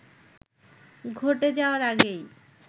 ঘটে যাওয়ার আগেই